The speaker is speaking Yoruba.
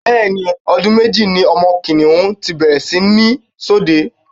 bẹ́ẹ̀ ni, ọdún méjì ni ọmọ kìnìhún ti bẹ̀rẹ̀ sí ní ṣọdẹ.